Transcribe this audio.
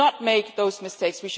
We should not make those mistakes.